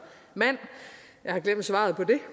mænd jeg har glemt svaret på det